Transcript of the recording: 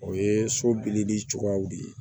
O ye so dili cogoyaw de ye